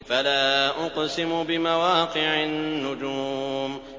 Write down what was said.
۞ فَلَا أُقْسِمُ بِمَوَاقِعِ النُّجُومِ